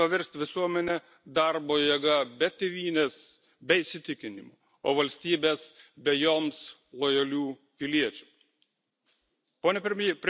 Tai politika, siekianti paversti visuomenę darbo jėga be tėvynės, be įsitikinimų, o valstybes be joms lojalių piliečių.